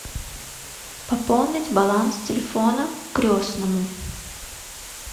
пополнить баланс телефона крестному